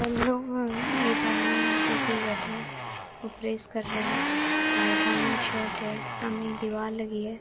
एक आदमी कुर्सी प बैठा है और प्रेस कर रहा और सामने एक शर्ट है सामने एक दीवार लगी है।